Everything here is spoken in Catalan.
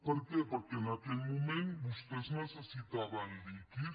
per què perquè en aquell moment vostès necessitaven líquid